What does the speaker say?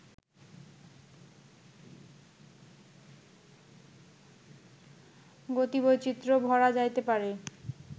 গতিবৈচিত্র্য ভরা যাইতে পারে